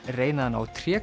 reyna að ná